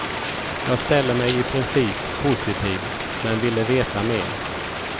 Jag ställde mig i princip positiv, men ville veta mer.